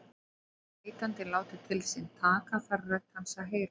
Vilji neytandinn láta til sín taka þarf rödd hans að heyrast.